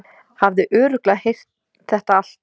Hafði örugglega heyrt þetta allt.